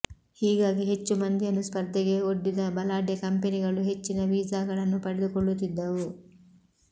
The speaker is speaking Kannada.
ಹೀಗಾಗಿ ಹೆಚ್ಚು ಮಂದಿಯನ್ನು ಸ್ಪರ್ಧೆಗೆ ಒಡ್ಡಿದ ಬಲಾಢ್ಯ ಕಂಪನಿಗಳು ಹೆಚ್ಚಿನ ವೀಸಾಗಳನ್ನು ಪಡೆದುಕೊಳ್ಳುತ್ತಿದ್ದವು